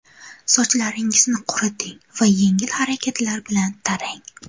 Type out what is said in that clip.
Sochlaringizni quriting va yengil harakatlar bilan tarang.